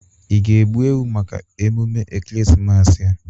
Ị ga-egbu ewu maka emume Ekeresimesi a?